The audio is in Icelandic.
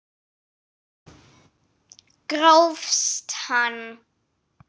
Grófst hann!